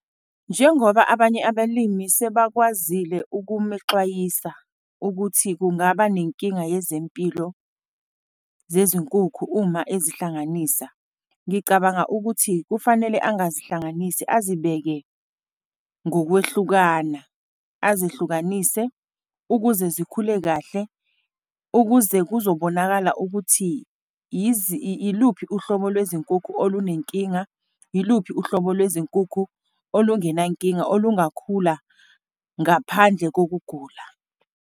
Njengoba abanye abelimi sebekwazile ukumexwayisa ukuthi kungaba nenkinga yezempilo zezinkukhu uma ezihlanganisa, ngicabanga ukuthi kufanele angazihlanganisi, azibeke ngokwehlukana, azihlukanise, ukuze zikhule kahle, ukuze kuzobonakala ukuthi iluphi uhlobo lwezinkukhu olunenkinga. Yiluphi uhlobo lwezinkukhu olungena nkinga, olungakhula ngaphandle kokugula.